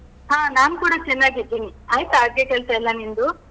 ಹಾ ನಾನ್ ಕೂಡ ಚೆನ್ನಾಗಿದ್ದೀನಿ. ಆಯ್ತಾ ಅಡ್ಗೆ ಕೆಲ್ಸ ಎಲ್ಲ ನಿನ್ದು?